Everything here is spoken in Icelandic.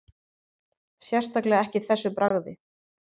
Sérstaklega ekki þessu bragði